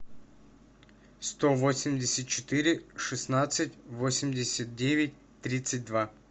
сто восемьдесят четыре шестнадцать восемьдесят девять тридцать два